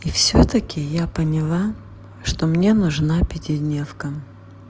и всё-таки я поняла что мне нужна пятидневка